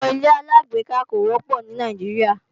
Àwọn ilé-aláàgbéká kò wọ́pọ̀ ní Nàìjíríà